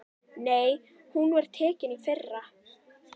Nei, hún var tekin í fyrra.